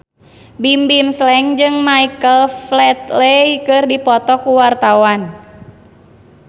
Bimbim Slank jeung Michael Flatley keur dipoto ku wartawan